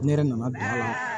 Ne yɛrɛ nana bilen